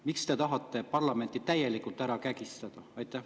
Miks te tahate parlamenti täielikult ära kägistada?